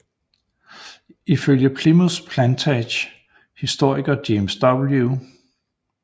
Ifølge Plimoth Plantage historiker James W